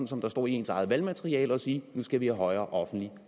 som der står i ens eget valgmateriale og sige at nu skal vi have højere offentlige